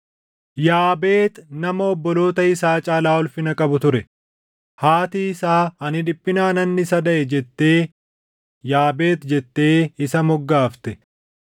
Yaabeex nama obboloota isaa caalaa ulfina qabu ture; haatii isaa, “Ani dhiphinaanan isa daʼe” jettee Yaabeex jettee isa moggaafte.